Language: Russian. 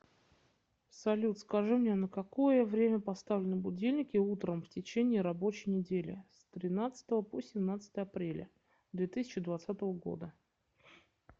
салют скажи мне на какое время поставлены будильники утром в течение рабочей недели с тринадцатого по семнадцатое апреля две тысячи двадцатого года